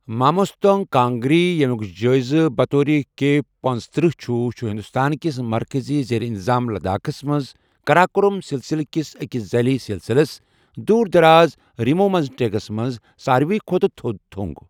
ماموستانگ کانگری، ییٚمیُک جٲیزٕ بطور کے پنژتٔرہ چھٗ، چھُ ہندوستان کِس مركزی زیر انتظام لداخس منٛز قراقرم سلسلہٕ کِس اکِس ذیلی سلسلس ،دور دراز رِمو مزٹیگس منز ساروی کھۄتہٕ تھوٚد تھو٘نگ ۔